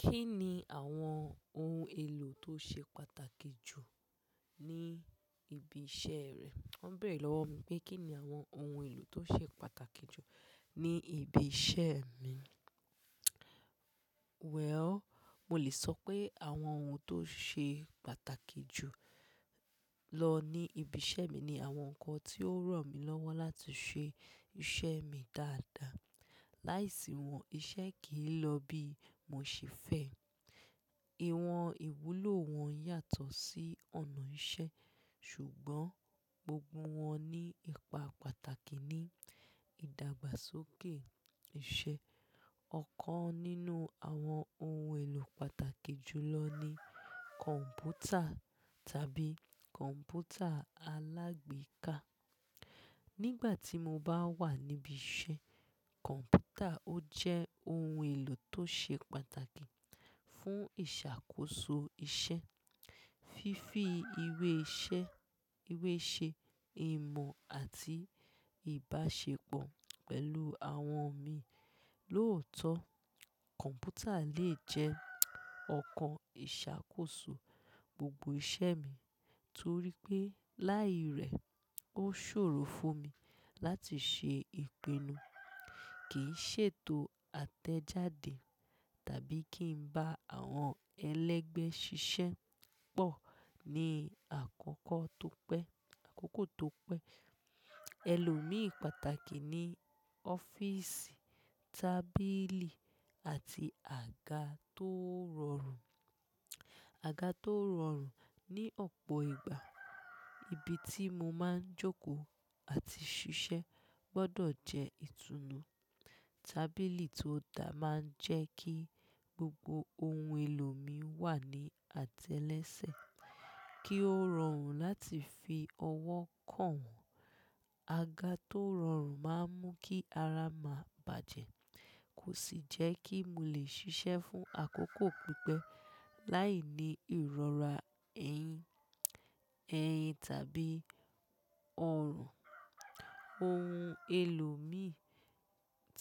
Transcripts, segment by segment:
Kí ni àwọn ohun èlò tó ṣe pàtàkì jù ní ibi iṣẹ́ rẹ? Wọ́n bèrè lọ́wọ́ mi pé kí ni àwọn ohun èlò tó ṣe pàtàkì jù ní ibi iṣẹ́ mi. Well, mo lè sọ pé àwọn ohun tó ṣe pàtàkì jù lọ ní ibi iṣẹ́ mi ni àwọn nǹkan tí ó ràn mí lọ́wọ́ láti ṣe iṣẹ́ mi dáadáa. Láìsí wọn, iṣẹ́ kì í lọ bí mo ṣe fẹ́. Ìwọ̀n ìwúlò wọn yàtọ̀ sí ọ̀nà iṣẹ́, ṣùgbọ́n gbogbo wọn ní ipa pàtàkì ní ìdàgbàsókè iṣẹ́. Ọ̀kan nínú àwọn ohun èlò pàtàkì jù lọ ni kọ̀ǹpútà tàbí kọ̀ǹpútà alágbèéká. Nígbà tí mo bá wà níbi iṣẹ́, kọ̀ǹpútà ó jẹ́ ohun èlò tó ṣe pàtàkì fún ìṣàkóso iṣẹ́, fífi ilẹ iṣẹ iweṣe, emọ̀ àti ìbáṣepọ̀ pẹ̀lú àwọn mi lóòótọ́. Kọ̀ǹpútà lè jẹ́ ọ̀kan ìṣàkóso gbogbo iṣẹ́ mi torí pé láì rí, ó ṣòro fún mi láti ṣe ìpinnu, kìí ṣètò àtẹ̀jáde tàbí kí n bá àwọn ẹlẹ́gbẹ́ ṣiṣẹ́ pọ̀ ní àkókò tó pẹ́. Èlò mi pàtàkì ni ọ́fíìsì, tábìlì àti àga tó rọrùn. Àga tó rọrùn ní ọ̀pọ̀ ìgbà, ibi tí mo máa ń jókòó àti ṣiṣẹ́ gbọdọ̀ jẹ́ ìtùnú. Tábìlì tó dáa máa ń jẹ́ kí gbogbo ohun èlò mi wà ní àtẹ́lẹsẹ̀, kí ó rọrùn láti fi ọwọ́ kàn wọ́n. Àga tó rọrùn máa ń mú kí ara má bàjẹ́, kò sì jẹ́ kí mo lè ṣiṣẹ́ fún àkókò pípẹ́ láìní ìrora ẹ̀yìn tàbí ọrùn. Ohun èlò mi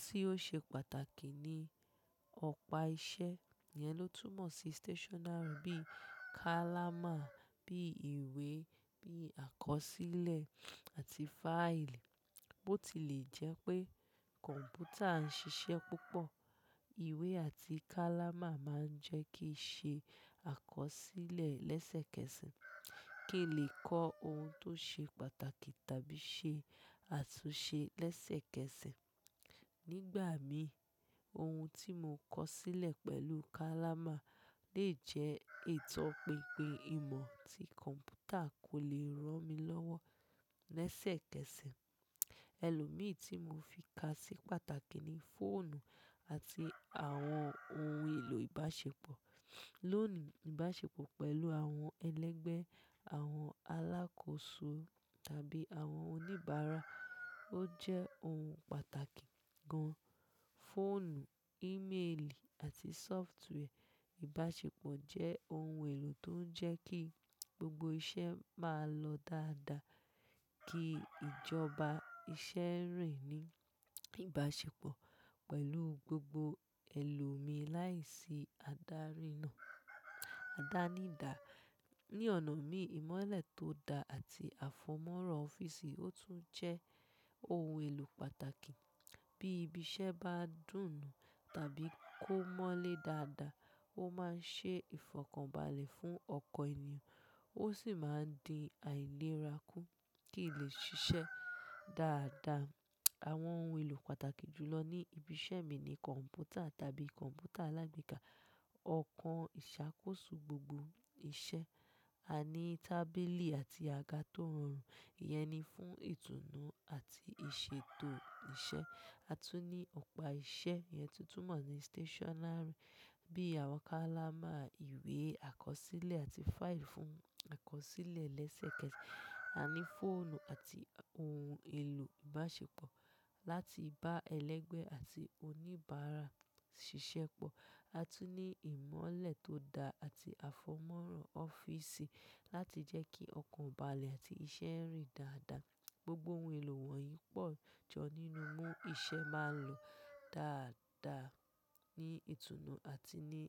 tí ó ṣe pàtàkì ni ọ̀pá iṣẹ́ ìyẹn ló túmọ̀ sí stationary bií kálámà, bíi ìwé, bíi àkọsílẹ̀ àti fáìlì. Bó ti lè jẹ́ pé kọ̀ǹpútà ń ṣiṣẹ́ púpọ̀, ìwé àti kálámà máa ń jẹ́ kí ṣe àkọsílẹ̀ lẹ́sẹ̀kẹsẹ̀, kí lè kọ ohun tó ṣe pàtàkì tàbí ṣe àtúnṣe lẹ́sẹ̀kẹsẹ̀. Nígbà mi, ohun tí mo kọ sílẹ̀ pẹ̀lú kálámà lè jẹ́ itò pínpín ìmọ̀ tí kọ̀ǹpútà kò lè ràn mí lọ́wọ́ lẹ́sẹ̀kẹsẹ̀. Èlò mi tí mo fi ká sí pàtàkì ni fóònù àti àwọn ohun èlò ìbáṣepọ̀. Lónìí, ìbáṣepọ̀ pẹ̀lú àwọn ẹlẹ́gbẹ́, àwọn alákòóso tàbí àwọn oníbàárà ó jẹ́ ohun pàtàkì gan. Fóònù, ímeèlì àti sóftware ìbáṣepọ̀ jẹ́ ohun èlò tó ń jẹ́ kí gbogbo iṣẹ́ máa lọ dáadáa, kí ìjọba iṣẹ́ rìn ní ìbáṣepọ̀ pẹ̀lú gbogbo èlò mi láìsí àdárinan- àdánidá. Ní ọ̀nà mi, ìmọ́lẹ̀ tó dáa àti àfọmọ́ràn fíìsì ó tún jẹ́ ohun èlò pàtàkì. Bí ibi iṣẹ́ bá dùnù tàbí kó mọ́lẹ̀ dáadáa, ó máa ń ṣe ìfọ̀kànbalẹ̀ fún ọkọ ènìyàn, ó sì máa ń dín àìlera kún kí lè ṣiṣẹ́ dáadáa. Àwọn ohun èlò pàtàkì jù lọ ní ibi iṣẹ́ mi ni kọ̀ǹpútà tàbí kọ̀ǹpútà alágbèéká, ọ̀kan ìṣàkóso gbogbo iṣẹ́. A ní tábìlì àti àga tó rọrùn, ìyẹn ni fún ìtùnú àti ìṣètò iṣẹ́. A tún ní ọ̀pá iṣẹ́ yẹn tí ó túmọ̀ sí stationary bí i àwọn kálámà, ìwé, àkọsílẹ̀ àti file fún àkọsílẹ̀ lẹ́sẹ̀kẹsẹ̀. A ní fóònù àti ohun èlò ìbáṣepọ̀ láti bá ẹlẹ́gbẹ́ àti oníbàárà ṣiṣẹ́ pọ̀. A tún ní ìmọ́lẹ̀ tó dáa àti àfọmọ́ràn ọ́fíìsì láti jẹ́ kí ọkọ̀balẹ̀ àti iṣẹ́ rìn dáadáa. Gbogbo ohun èlò wọ̀nyí pọ̀ jọ nínú mú iṣẹ́ máa ń lọ dáadáa ní ìtùnú àti ní.